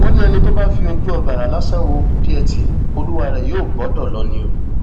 wọn ní ẹni tó bá fi ojú ọgbàrá lásán wo kúdíẹtì olúwa rẹ yóò bọdọ lọ ni o